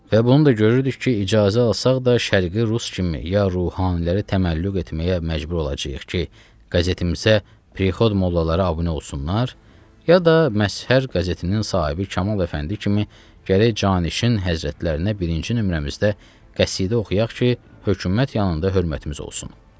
Və bunu da görürdük ki, icazə alsaq da, Şərqi Rus kimi ya ruhaniləri təməllüq etməyə məcbur olacağıq ki, qəzetimizə prikod mollaları abunə olsunlar, ya da Məzhər qəzetinin sahibi Kamal Əfəndi kimi gərək Cənişin həzrətlərinə birinci nömrəmizdə qəsidə oxuyaq ki, hökumət yanında hörmətimiz olsun.